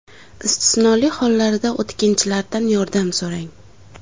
Istisnoli holatlarda o‘tkinchilardan yordam so‘rang.